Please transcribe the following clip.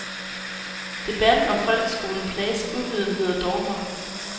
Debatten om folkeskolen plages af uvidenhed og dogmer.